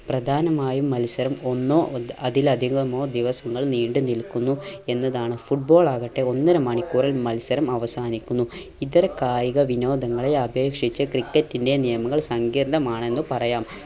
പ്രധാനമായും മത്സരം ഒന്നോ അതിലധികമോ ദിവസങ്ങൾ നീണ്ടു നിൽക്കുന്നു എന്നതാണ് football ആകട്ടെ ഒന്നര മണിക്കൂറിൽ മത്സരം അവസാനിക്കുന്നു. ഇതര കായിക വിനോദങ്ങളിൽ അപേക്ഷിച്ച് ക്രിക്കറ്റിൻറെ നിയമങ്ങൾ സംഗീർണമാണെന്ന് പറയാം.